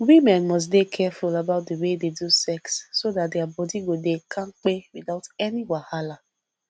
women must dey careful about the way they do sex so that their body go dey kampe without any wahala